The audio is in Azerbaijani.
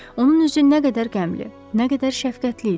Onun üzü nə qədər qəmli, nə qədər şəfqətli idi.